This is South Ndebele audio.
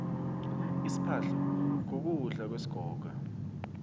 isiphahlo kukudla kwesigoga